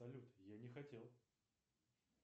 салют я не хотел